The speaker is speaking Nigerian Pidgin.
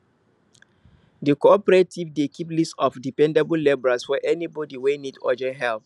di cooperative dey keep list of dependable labourers for anybody wey need urgent help